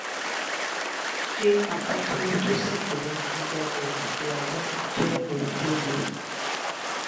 se apa to wu to si ku leyin gigaje ti aja je ohun to le?